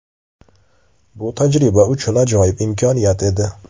Bu tajriba uchun ajoyib imkoniyat edi.